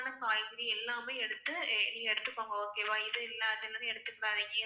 சத்தான காய்கறி எல்லாமே எடுத்து எடுத்துக்கோங்க. okay வா இது இல்ல அது இல்ல